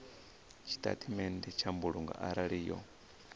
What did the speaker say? tshitatamennde tsha mbulungo arali yo